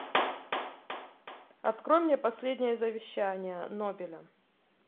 открой мне последние завещание нобеля